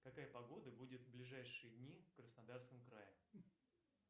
какая погода будет в ближайшие дни в краснодарском крае